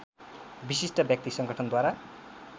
विशिष्ट व्यक्ति संगठनद्वारा